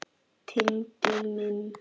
Tengdi minn.